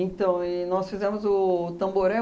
e nós fizemos o Tamboré